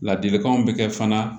Ladilikanw bɛ kɛ fana